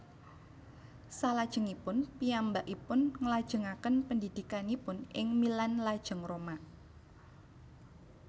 Salajengipun piyambakpipun nglajengaken pendidikanipun ing Milan lajeng Roma